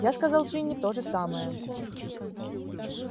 я сказал джинни то же самое